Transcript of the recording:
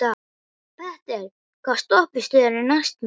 Petter, hvaða stoppistöð er næst mér?